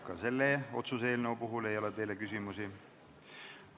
Ka selle otsuse eelnõu puhul ei ole teile küsimusi.